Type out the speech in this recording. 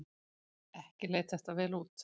Ekki leit þetta vel út.